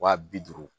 Wa bi duuru